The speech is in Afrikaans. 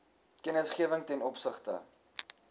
kennisgewing ten opsigte